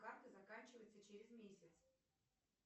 карты заканчивается через месяц